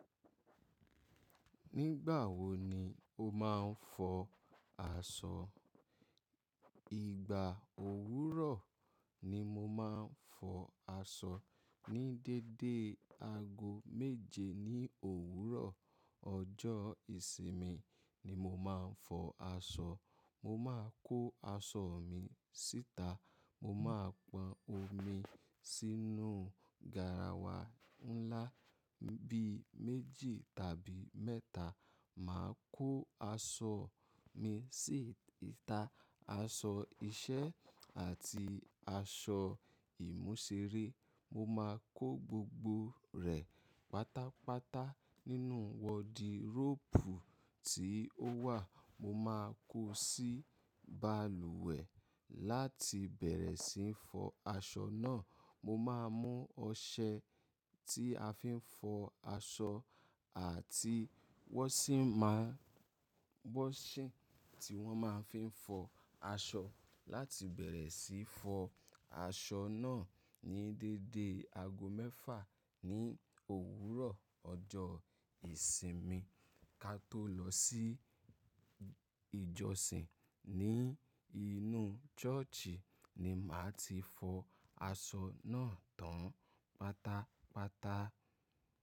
Nígbà wo ni o máa ń fọ aṣọ? Ìgbà òwúrọ̀ ni mo máa ń fọ aṣọ. Ni dédé aago méje ní òwúrọ̀ ọjọ́ ìsinmi ni mo máa ń fọ aṣọ. Mo máa kó aṣọ mi síta. Mo máa pọn omi sínú garawa ńlá bí i méjì tàbí mẹ́ta. Màá kó aṣọ mi sí ìta. Aṣọ iṣẹ́ àti aṣọ ìmúṣéré. Mo máa kó gbogbo rẹ̀ pátápátá nínú wọdiróòpù tí ó wà. Mo máa kó sí balùwẹ̀ láti bẹ̀rẹ̀ sí í fọ aṣọ náà. Mo máa mú ọṣẹ tí a fi ń fọ aṣọ àti wọ́ṣìń má wọ́ṣìń tí wọ́n máa ń fi fọ aṣọ láti bẹ̀rẹ̀ sí í fọ aṣọ náà ní dédé aago mẹ́fà ní òwúrọ̀ ọjọ́ ìsinmi. Ka tó lọ sí ìjọsìn ní inú chọ́ọ̀chì ni màá ti fọ aṣọ náà tán pátápátá.